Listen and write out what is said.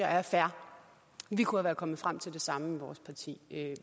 er fair vi kunne være kommet frem til det samme i vores parti